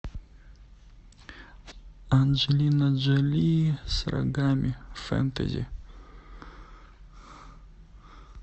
анджелина джоли с рогами фэнтези